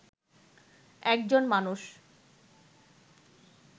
একজন মানুষ